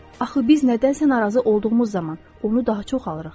Axı biz nədənsə narazı olduğumuz zaman onu daha çox alırıq.